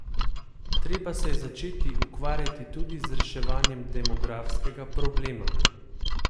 Treba se je začeti ukvarjati tudi z reševanjem demografskega problema.